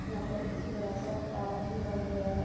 यहा पर एक बड़ा-सा पहाड़ दिखाई दे रहा है।